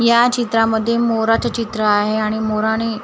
या चित्रामध्ये मोराचे चित्र आहे आणि मोराने--